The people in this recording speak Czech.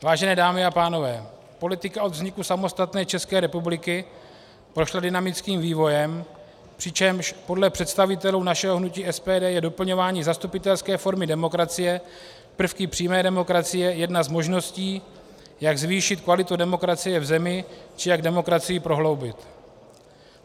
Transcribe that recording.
Vážené dámy a pánové, politika od vzniku samostatné České republiky prošla dynamickým vývojem, přičemž podle představitelů našeho hnutí SPD je doplňování zastupitelské formy demokracie prvky přímé demokracie jedna z možností, jak zvýšit kvalitu demokracie v zemi či jak demokracii prohloubit.